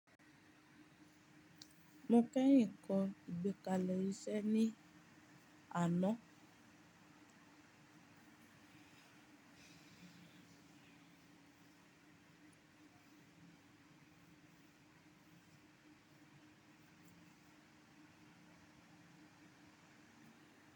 Mo kẹ́yìn kọ́ ìgbékalẹ̀ iṣẹ́ ní àná.